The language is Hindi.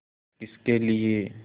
किसके लिए